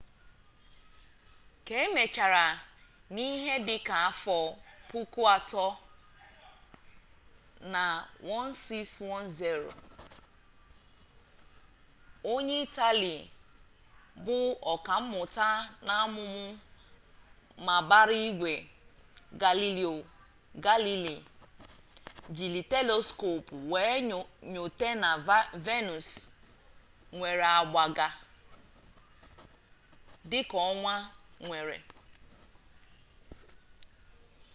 ka e mechara n'ihe dịka afọ puku atọ na 1610 onye itali bụ ọkammuta n'amụmamụ mabaraigwe galileo galilei jiri teleskopụ wee nyote na venus nwere agba ga dịka ọnwa nwere